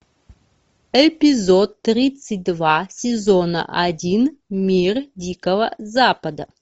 эпизод тридцать два сезона один мир дикого запада